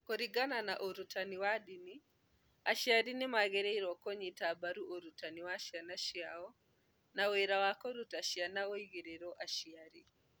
Kũringana na ũrutani wa ndini, aciari nĩ magĩrĩirũo kũnyita mbaru ũrutani wa ciana ciao, na wĩra wa kũruta ciana ũigĩirũo aciari